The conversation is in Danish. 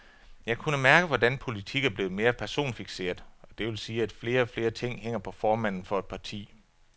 Jeg kunne mærke, hvordan politik er blevet mere personfikseret, og det vil sige, at flere og flere ting hænger på formanden for et parti.